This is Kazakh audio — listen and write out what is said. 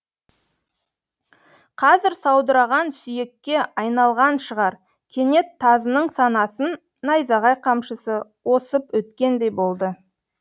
қазір саудыраған сүйекке айналған шығар кенет тазының санасын найзағай қамшысы осып өткендей болды